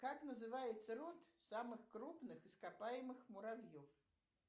как называется род самых крупных ископаемых муравьев